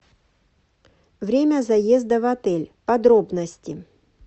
время заезда в отель подробности